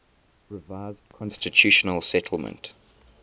revised constitutional settlement